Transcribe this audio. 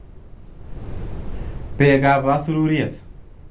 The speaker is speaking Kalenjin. Beekab asururyet